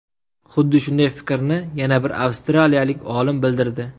Xuddi shunday fikrni yana bir avstraliyalik olim bildirdi.